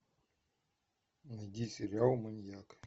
найди сериал маньяк